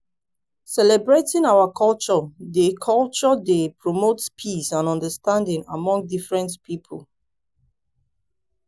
celebrating our culture dey culture dey promote peace and understanding among different pipo.